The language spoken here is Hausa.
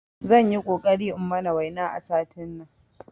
Zanyi ƙoƙari in mana waina a satin nan